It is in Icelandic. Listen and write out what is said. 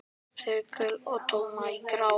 Þögull og tómur og grár.